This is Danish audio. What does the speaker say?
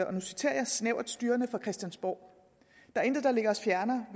og nu citerer jeg snævert styrende fra christiansborg der er intet der ligger os fjernere